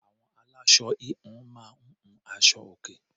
Àwọn aláṣọ -híhun máa ń hun aṣọ-òkè.